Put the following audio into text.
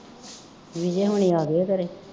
ਵਿਜੇ ਹੋਰੀਂ ਆਗੇ ਆ ਘਰੇ